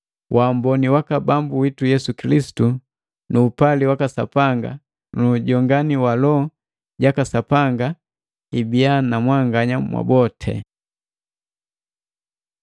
Wamboni waka Bambu witu Yesu Kilisitu nu upali waka Sapanga nu ujongani wa Loho jaka Sapanga, ibiya na mwanganya mwaboti.